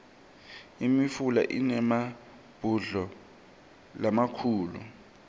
imifula inemabhudlo lamakhulu